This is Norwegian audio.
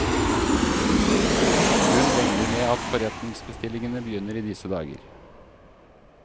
Hun regner med at forretningsbestillingene begynner i disse dager.